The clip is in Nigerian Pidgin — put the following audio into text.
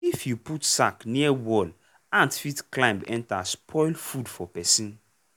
if you put sack near wall ant fit climb enter spoil food for person.